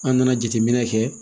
An nana jateminɛ kɛ